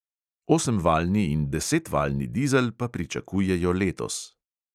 Osemvaljni in desetvaljni dizel pa pričakujejo letos.